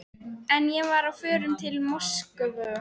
En ég var á förum til Moskvu.